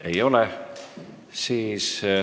Ei ole.